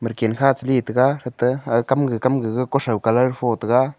medican kha chale taga thate aga kam gaga kutho colour pho taga.